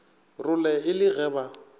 role e le ge ba